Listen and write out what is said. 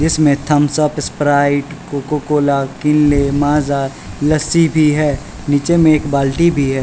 जिसमें Thums Up Sprite Coca Cola Kinley Maaza lassi भी है नीचे में एक बाल्टी भी --